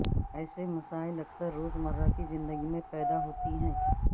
ایسے مسائل اکثر روزمرہ کی زندگی میں پیدا ہوتی ہیں